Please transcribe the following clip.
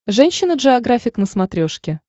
женщина джеографик на смотрешке